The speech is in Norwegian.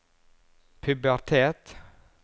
pubertet